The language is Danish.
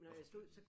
Nåh for fanden